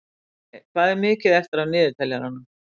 Olli, hvað er mikið eftir af niðurteljaranum?